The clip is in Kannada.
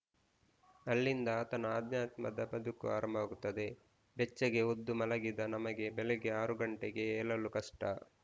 ಅಲ್ಲಿಂದ ಆತನ ಆಧ್ಯಾತ್ಮದ ಬದುಕು ಆರಂಭವಾಗುತ್ತದೆ ಬೆಚ್ಚಗೆ ಹೊದ್ದು ಮಲಗಿದ ನಮಗೆ ಬೆಳಿಗ್ಗೆ ಆರು ಗಂಟೆಗೆ ಏಲಲು ಕಷ್ಟ